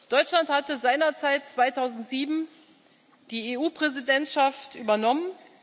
Deutschland hatte seinerzeit, 2007, die EU Präsidentschaft übernommen.